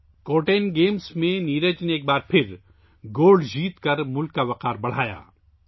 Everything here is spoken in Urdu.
نیرج نے ایک بار پھر کورتانے گیمز میں طلائی تمغہ جیت کر ملک کا سر فخر سے بلند کیا